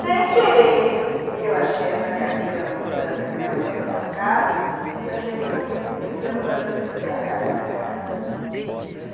Sem querer, eu achei essa carteira na mudança que a minha mãe vendeu a casa, e eu achei ele tão bonito que eu queria mostrar para o meu filho, por acaso está na minha casa.